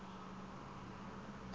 nawo abe efude